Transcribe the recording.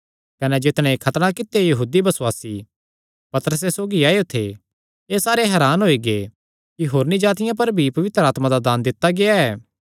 कने जितणे खतणा कित्यो यहूदी बसुआसी पतरसे सौगी आएयो थे एह़ सारे हरान होई गै कि होरनी जातिआं पर भी पवित्र आत्मा दा दान दित्ता गेआ ऐ